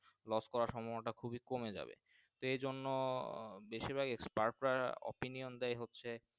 Los করা সম্ভাবনা টা খুবই কমে যাবে সেই জন্য বেশি ভাগ Staef রা Opinion টাই হচ্ছে।